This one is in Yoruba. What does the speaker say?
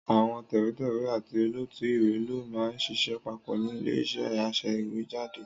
Àwọn tẹ̀wétẹ̀wé àti olótùú ìwé ló máa ń ṣiṣẹ́ papọ̀ ni ilé-iṣẹ́ aṣèwéjádé.